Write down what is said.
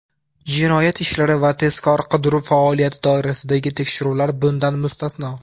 jinoyat ishlari va tezkor-qidiruv faoliyati doirasidagi tekshiruvlar bundan mustasno).